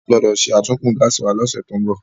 A gbọ́dọ̀ sàtúnkún gáàsì wa ní ọ̀sẹ̀ tó ń bọ̀